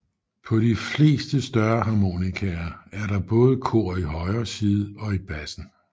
På de fleste større harmonikaer er der både kor i højre side og i bassen